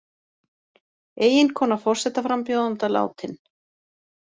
Eiginkona forsetaframbjóðanda látin